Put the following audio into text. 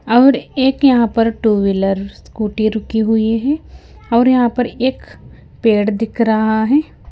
और एक यहाँ पर टू व्हीलर स्कूटी रुकी हुई है और यहाँ पर एक पेड़ दिख रहा है।